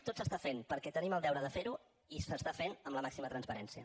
tot es fa perquè tenim el deure de fer ho i es fa amb la màxima transparència